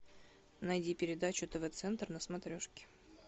найди передачу тв центр на смотрешке